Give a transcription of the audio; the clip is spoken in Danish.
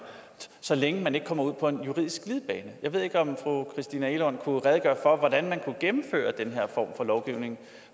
så længe man ikke kommer ud på en juridisk glidebane jeg ved ikke om fru christina egelund kunne redegøre for hvordan man kunne gennemføre den her form for lovgivning